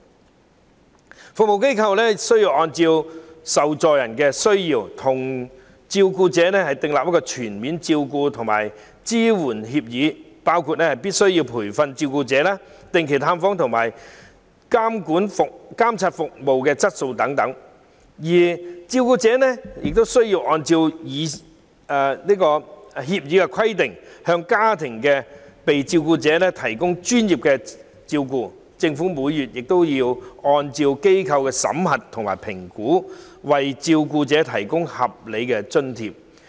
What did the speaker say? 專業服務機構須按被照顧者的需要，與照顧者訂立全面照顧及支援協議，當中包括必須培訓照顧者、定期進行探訪和監察服務質素等的條款；照顧者則須按協議規定，向被照顧者提供專業照顧；而政府亦須按照服務機構的審核及評估，每月為照顧者提供合理津貼。